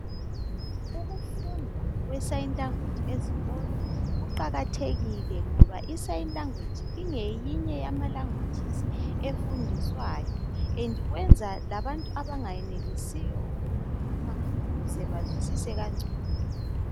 Ukufundwa kwesayini langweji ezikolo kuqakathekile ngoba isayini langweji ingeyinye yamalangwejizi efundiswayo .Endi kwenza labantu abangayenelisiyo ukukhuluma ukuze bazwisise kangcono.